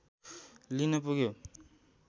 लिन पुग्यो